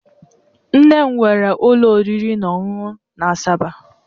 Nne m nwere ụlọ oriri na ọṅụṅụ na Asaba.